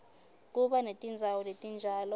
kuba netindzawo letinjalo